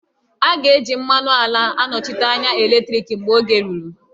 A ga-eji mmanụ ala anọchite anya eletriki mgbe oge ruru